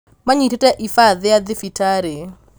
manyitĩte ibaa thia thibitarĩ